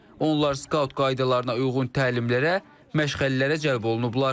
Onlar skaut qaydalarına uyğun təlimlərə, məşğələlərə cəlb olunublar.